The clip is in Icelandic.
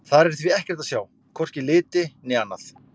Þar er því ekkert að sjá, hvorki liti né annað.